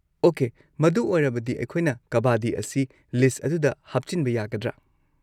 Okay, ꯃꯗꯨ ꯑꯣꯏꯔꯕꯗꯤ, ꯑꯩꯈꯣꯏꯅ ꯀꯕꯥꯗꯤ ꯑꯁꯤ ꯂꯤꯁꯠ ꯑꯗꯨꯗ ꯍꯥꯞꯆꯤꯟꯕ ꯌꯥꯒꯗ꯭ꯔꯥ?